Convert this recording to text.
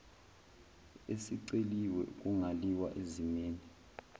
esiceliwe kungaliwa ezimeni